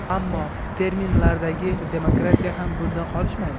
Ammo terminlardagi demokratiya ham bundan qolishmaydi.